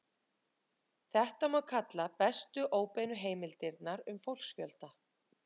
Þetta má kalla bestu óbeinu heimildirnar um fólksfjölda.